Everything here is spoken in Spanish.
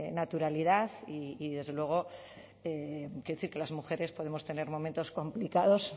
naturalidad y desde luego quiero decir que las mujeres podemos tener momentos complicados